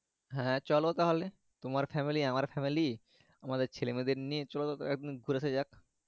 হ্যাঁ চলো তাহলে তোমার family আমার family আমাদের ছেলে মেয়েদের নিয়ে চলো একদিন ঘুরে আশা যাক।